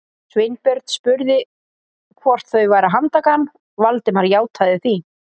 Sveinbjörn spurði hvort þau væru að handtaka hann, Valdimar játaði því.